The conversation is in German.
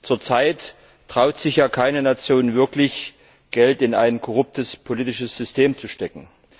Zurzeit traut sich ja keine Nation wirklich, Geld in ein korruptes politisches System zu stecken.